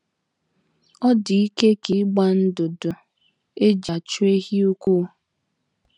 ọ dị ike ka ị gbaa ndụdụ e ji achụ ehi ụkwụ. ”